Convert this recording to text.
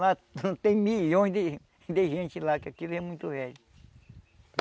Lá tem milhões de de gente lá, que aquilo é muito velho.